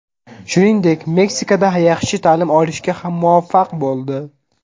Shuningdek, Meksikada yaxshi ta’lim olishga ham muvaffaq bo‘ldi.